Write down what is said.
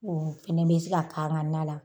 O fana bɛ se k'an ka na la.